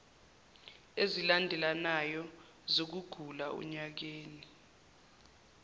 ezilandelanayo zokugula onyakeni